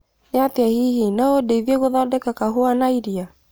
niatĩa hihi no ũndeithie gũthondeka kahũa na iria